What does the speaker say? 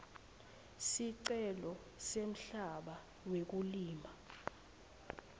sicelo semhlaba wekulima